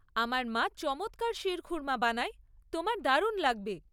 আমার মা চমৎকার শির খুর্মা বানায়, তোমার দারুণ লাগবে।